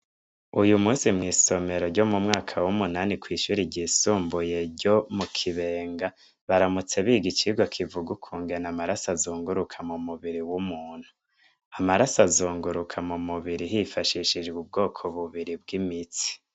Uyu munsi mw'isomero ryo mu mwaka w'umunani kw'ishuri ryisumbuye ryo mu Kibenga, baramutse biga icigwa kivuga ukungene amaraso azunguruka mu mubiri w'umuntu. Amaraso azunguruka mu mubiri hifashishijwe ubwoko bubiri bw'imitsi.